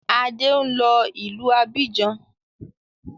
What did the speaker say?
Adé ń lọ ìlú Abidjan